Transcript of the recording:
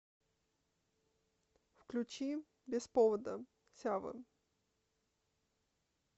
включи без повода сявы